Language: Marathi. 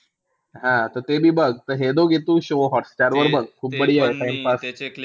हां त ते बी बघ. त हे दोघी show तू हॉटस्टारवर बघ खूप timepass.